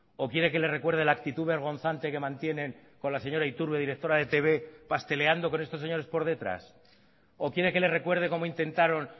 o quiere que le recuerde la actitud vergonzante que mantienen con la señora iturbe directora de etb pasteleando con estos señores por detrás o quiere que le recuerde como intentaron